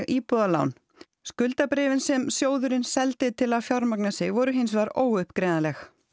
íbúðalán skuldabréfin sem sjóðurinn seldi til að fjármagna sig voru hins vegar óuppgreiðanleg